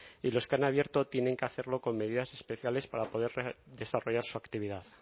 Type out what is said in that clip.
y los que han abierto tienen que hacerlo con medidas especiales para poder desarrollar su actividad